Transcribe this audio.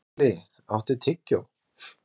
Atli, áttu tyggjó?